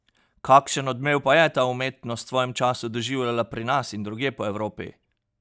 Kakšen odmev pa je ta umetnost v svojem času doživljala pri nas in drugje po Evropi?